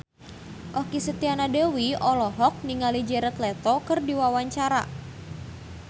Okky Setiana Dewi olohok ningali Jared Leto keur diwawancara